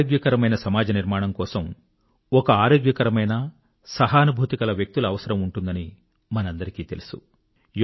ఒక ఆరోగ్యకరమైన సమాజ నిర్మాణం కొరకు ఒక ఆరోగ్యకరమైన సహానుభూతి కల వ్యక్తుల అవసరం ఉంటుందని మనందరికీ తెలుసు